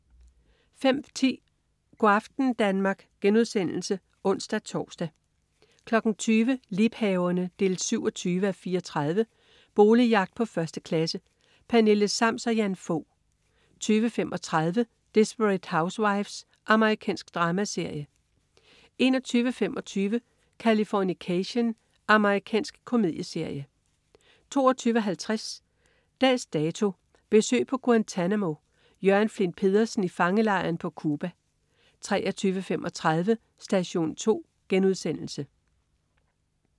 05.10 Go' aften Danmark* (ons-tors) 20.00 Liebhaverne 27:34. Boligjagt på 1. klasse. Pernille Sams og Jan Fog 20.35 Desperate Housewives. Amerikansk dramaserie 21.25 Californication. Amerikansk komedieserie 22.50 Dags Dato: Besøg på Guantanamo. Jørgen Flindt Pedersen i fangelejren på Cuba 23.35 Station 2*